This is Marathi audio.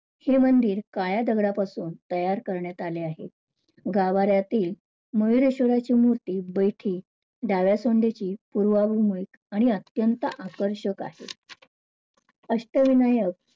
हे मंदिर काळ्या दगडापासून तयार करण्यात आले आहे. गावाऱ्यातली मयूरेश्वराची मूर्ती बैठी डाव्या सोंडीची आणि अत्यंत आकर्षक आहे. अष्टविनायक